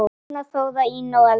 Birna, Þóra, Ína og Elsa.